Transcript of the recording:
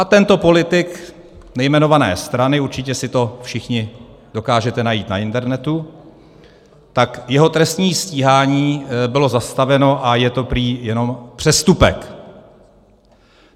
A tento politik nejmenované strany - určitě si to všichni dokážete najít na internetu - tak jeho trestní stíhání bylo zastaveno a je to prý jenom přestupek.